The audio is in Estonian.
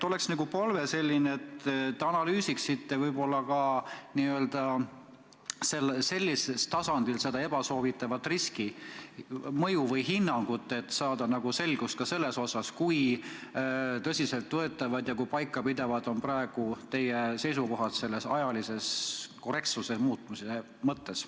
Oleks selline palve, et te analüüsiksite ka sellisel tasandil seda ebasoovitavat riski, mõju või hinnangut, et saada selgust ka selles, kui tõsiselt võetavad ja kui paikapidavad on praegu teie seisukohad selle ajalise korrektsuse muutumise mõttes.